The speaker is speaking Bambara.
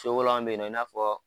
Sokolan bɛ yen i n'a fɔ